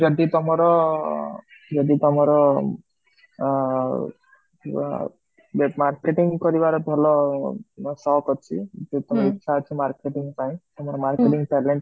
ଯେମିତି ତମର ଯଦି ତମର ଅ ଅmarketing କରିବା ରେ ଭଲ ଶୌକ କାଚି ତ ଇଚ୍ଛା ଅଛି marketing ପାଇଁ ତମ marketing talent,